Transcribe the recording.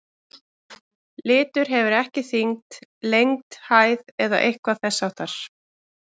Litur hefur ekki þyngd, lengd, hæð eða eitthvað þess háttar.